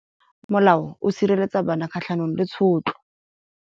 Molao o sireletsa bana kgatlhanong le tshotlo.